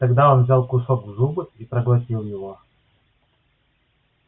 тогда он взял кусок в зубы и проглотил его